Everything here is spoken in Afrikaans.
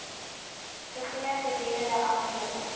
gegee gedurende amptelike